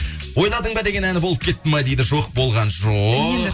ойладың ба деген әні болып кетті ма дейді жоқ болған жоқ